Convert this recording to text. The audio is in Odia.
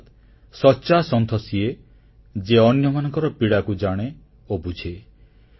ଅର୍ଥାତ୍ ସଚ୍ଚା ସନ୍ଥ ସିଏ ଯିଏ ଅନ୍ୟମାନଙ୍କର ପୀଡ଼ାକୁ ଜାଣେ ଓ ବୁଝେ